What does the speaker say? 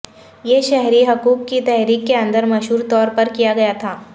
یہ شہری حقوق کی تحریک کے اندر مشہور طور پر کیا گیا تھا